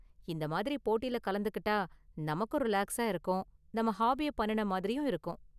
இந்த மாதிரி போட்டில கலந்துக்கிட்டா நமக்கும் ரிலாக்ஸா இருக்கும் நம்ம ஹாபிய பண்ணுன மாதிரியும் இருக்கும்.